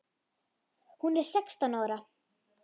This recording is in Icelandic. Hún er sextán ára.